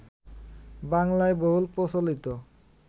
বাংলায় বহুল প্রচলিত